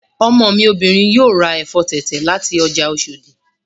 Ọmọ mi obìnrin yóò ra ẹ̀fọ́ tẹ̀tẹ̀ láti ọjà Oshòdì